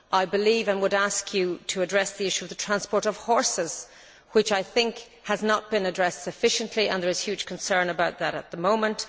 I would ask you to address the issue of the transport of horses which, I think, has not been addressed sufficiently, and I think there is huge concern about that at the moment.